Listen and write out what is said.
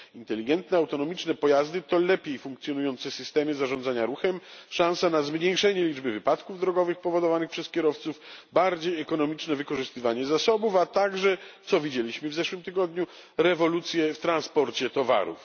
Inteligentne autonomiczne pojazdy to lepiej funkcjonujące systemy zarządzania ruchem, szansa na zmniejszenie liczby wypadków drogowych powodowanych przez kierowców, bardziej ekonomiczne wykorzystywanie zasobów, a także co widzieliśmy w zeszłym tygodniu rewolucje w transporcie towarów.